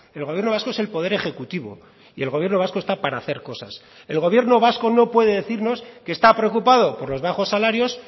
el gobierno vasco es el poder ejecutivo y el gobierno vasco está para hacer cosas el gobierno vasco no puede decirnos que está preocupado por los bajos salarios